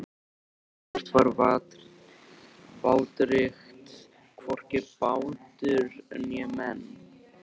Ekkert var vátryggt, hvorki bátur né menn.